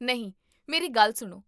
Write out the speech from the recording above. ਨਹੀਂ, ਮੇਰੀ ਗੱਲ ਸੁਣੋ